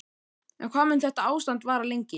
En hvað mun þetta ástand vara lengi?